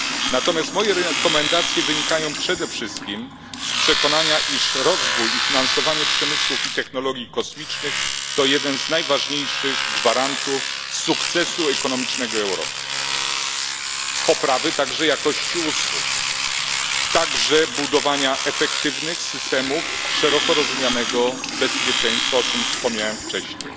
Natomiast moje rekomendacje wynikają przede wszystkim z przekonania, iż rozwój i finansowanie przemysłu i technologii kosmicznych, to jeden z najważniejszych gwarantów sukcesu ekonomicznego Europy, a także poprawy jakości usług i budowania efektywnych systemów szeroko rozumianego bezpieczeństwa o czym wspomniałem wcześniej